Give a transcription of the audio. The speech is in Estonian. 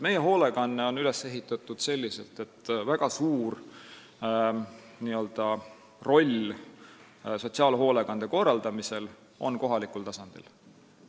Meie hoolekanne on üles ehitatud selliselt, et väga suur roll sotsiaalhoolekande korraldamisel on kohalikul tasandil.